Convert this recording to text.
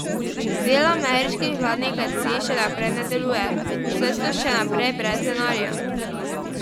Del ameriških vladnih agencij še naprej ne deluje, saj so še naprej brez denarja.